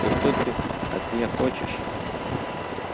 и что ты от меня хочешь